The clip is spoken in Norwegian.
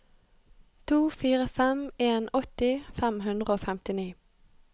to fire fem en åtti fem hundre og femtini